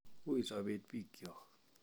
Ui sobet bikyok